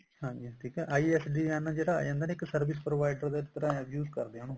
ਹਾਂਜੀ ਠੀਕ ਹੈ ISDN ਜਿਹੜਾ ਹੁੰਦਾ ਨੀ ਇੱਕ service provider ਦੀ ਤਰ੍ਹਾਂ use ਕਰਦੇ ਆ ਉਹਨੂੰ